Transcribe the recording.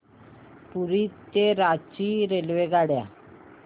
पुरी ते रांची रेल्वेगाड्या